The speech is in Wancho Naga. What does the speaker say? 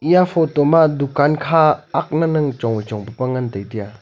eya photo ma dukaan kha agna ne chonwai chong pa pa ngan tai tiya.